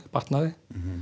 batnað